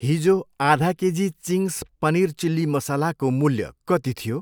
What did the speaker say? हिजो आधा KG Ching's paneer chilli मसालाको मूल्य कति थियो।